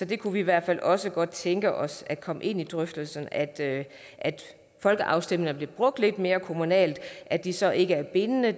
vi kunne i hvert fald også godt tænke os at komme ind i drøftelserne om at folkeafstemninger blev brugt lidt mere kommunalt at de så ikke er bindende